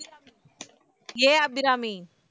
A Abirami